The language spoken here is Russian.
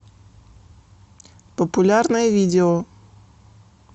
популярное видео